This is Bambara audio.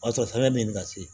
O y'a sɔrɔ fɛn bɛ nin na se